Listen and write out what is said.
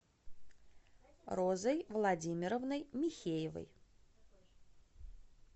розой владимировной михеевой